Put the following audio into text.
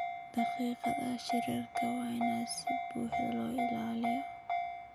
Daqiiqadaha shirarka waa in si buuxda loo ilaaliyaa.